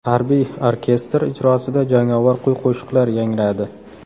Harbiy orkestr ijrosida jangovar kuy-qo‘shiqlar yangradi.